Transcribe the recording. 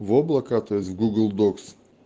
в облака то есть в гугл докс